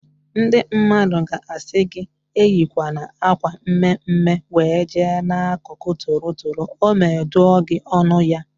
Ndị mmadụ ga-asị gị eyikwana akwa mme mme wee jee n'akụkụ toro toro ọme dụọ gị ọnụ ya